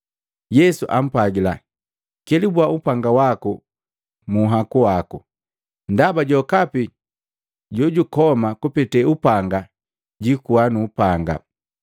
Yesu ampwagila, “Kelubua upanga waku munhaku waki. Ndaba jokapi jojukoma kupete upanga jiikuwa nuupanga.